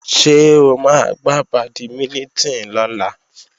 Ṣé o máa gbá bàdímínítìn lọ́la?